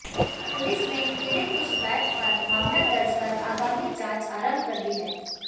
police ने पीडि़त की शिकायत पर मामला दर्ज कर आगामी जांच आरंभ कर दी है